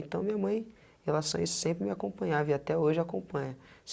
Então, minha mãe, em relação a isso sempre me acompanhava e até hoje acompanha.